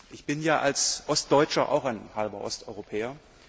Ich bin ja als Ostdeutscher auch ein halber Osteuropäer.